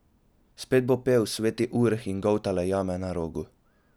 Spet bo pel Sveti Urh in goltale jame na Rogu.